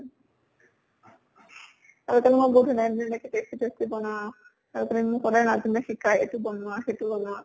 আগতে মই বহুত ধুনীয়া ধুনীয়া এনেকে tasty tasty বনাওঁ, তাৰ কাৰণে মোক সদায় নাজিমে শিকায়, এইটো বনোৱা, সেইটো বনোৱা।